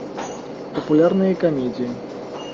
популярные комедии